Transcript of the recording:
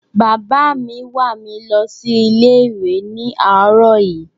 Bàbá mi wà mi lọ sí ilé ìwé ni àróò yí